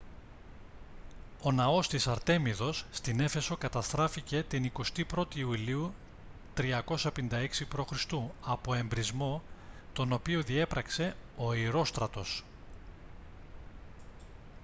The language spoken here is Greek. ο ναός της αρτέμιδος στην έφεσο καταστράφηκε την 21η ιουλίου 356 π.χ. από εμπρησμό τον οποίο διέπραξε ο ηρόστρατος